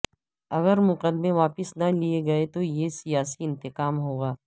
اگر مقدمے واپس نہ لئے گئے تو یہ سیاسی انتقام ہوگا